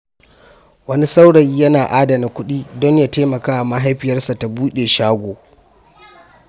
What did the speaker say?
Wani saurayi yana adana kudi don ya taimaka wa mahaifiyarsa ta buɗe shago.